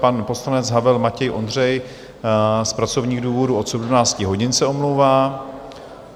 Pan poslanec Havel Matěj Ondřej z pracovních důvodů od 17 hodin se omlouvá.